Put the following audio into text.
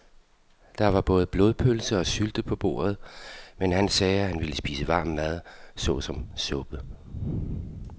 Der var både blodpølse og sylte på bordet, men han sagde, at han bare ville spise varm mad såsom suppe.